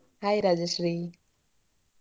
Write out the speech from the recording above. Hai Rajashree.